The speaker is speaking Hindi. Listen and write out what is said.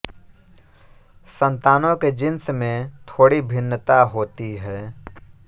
संतानों के जीन्स में थोड़ी भिन्नता होती है